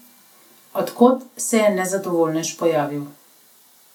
Od kod se je nezadovoljnež pojavil?